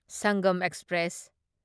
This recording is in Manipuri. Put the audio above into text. ꯁꯪꯒꯝ ꯑꯦꯛꯁꯄ꯭ꯔꯦꯁ